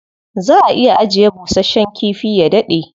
Za a iya ajiye bushasshen kifi ya daɗe.